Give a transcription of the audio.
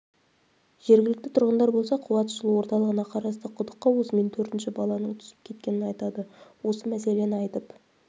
жергілікті тұрғындар болса қуатжылу орталығына қарасты құдыққа осымен төртінші баланың түсіп кеткенін айтады осы мәселені айтып